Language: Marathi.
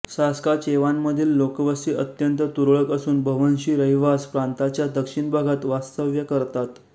सास्काचेवानमधील लोकवस्ती अत्यंत तुरळक असून बव्हंशी रहिवास प्रांताच्या दक्षिण भागात वास्तव्य करतात